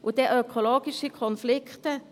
Und ökologische Konflikte?